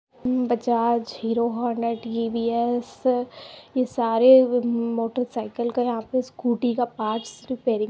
Bajaj Hero Honda ये सारे motorcycle का यहा पे स्कूटी के पार्ट्स रेपिररिंग --